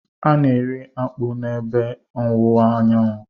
A na-eri akpu n'ebe ọwụwa anyanwụ.